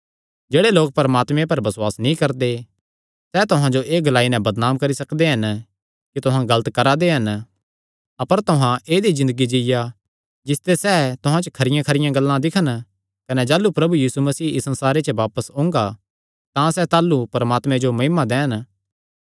जेह्ड़े लोक परमात्मे पर बसुआस नीं करदे सैह़ तुहां जो एह़ ग्लाई नैं बदनाम करी सकदे हन कि तुहां गलत करा दे हन अपर तुहां ऐदई ज़िन्दगी जीआ जिसते सैह़ तुहां च खरियां गल्लां दिक्खन कने जाह़लू प्रभु यीशु मसीह इस संसारे च बापस ओंगा तां सैह़ ताह़लू परमात्मे जो महिमा दैन